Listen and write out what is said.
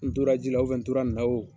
N tora ji ra u fɛ n tora n na o